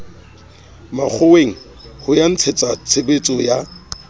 makgoweng ho ya ntshetsatshebetso ya